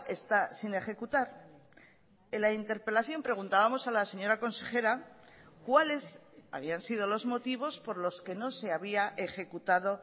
está sin ejecutar en la interpelación preguntábamos a la señora consejera cuáles habían sido los motivos por los que no se había ejecutado